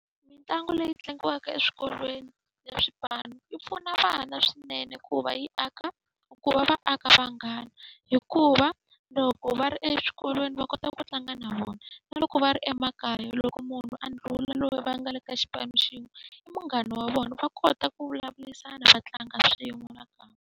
Mitlangu leyi tlangiwaka eswikolweni ya swipanu yi pfuna vana swinene ku va yi aka, ku va va aka vunghana. Hikuva loko va ri exikolweni va kota ku tlanga na vona, na loko va ri emakaya loko munhu a ndlhula loyi va nga le ka xipano xin'we i munghana wa vona. Va kota ku vulavurisana va tlanga swin'we nakambe.